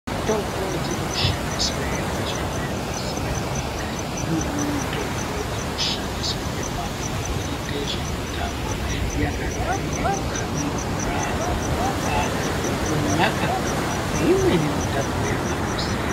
Mitombo dzirinoshandiswa ngenjira yakasiyana imweni mitombo inoshandiswe ngevantu vanoita zvemutambo yakadai ngekukabe bhora ,kurumba nekunxaka bhora neimweni mitambo yakangosiyana.